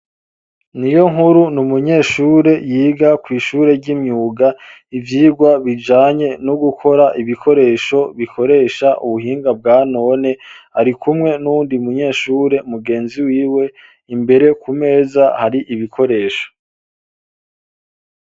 Niyonkuru ni umunyeshure yiga kw'ishure ry'imyuga, ivyigwa bijanye no gukora ibikoresho bikoresha ubuhinga bwa none, arikumwe n'uwundi munyeshure mugenzi wiwe, imbere ku meza hari ibikoresho.